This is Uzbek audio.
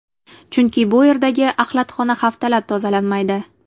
Chunki bu yerdagi axlatxona haftalab tozalanmaydi.